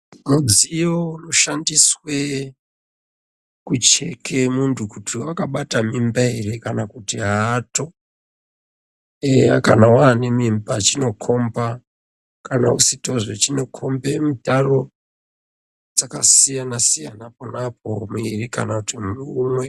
Mudziyo unoshandiswe kucheke muntu kuti wakabata mimba ere kana kuti aato eya kana wane mimba chinokomba kana usitozve chinokombe mitaro dzakasiyana siyana ponapo muiri kana kuti umwe.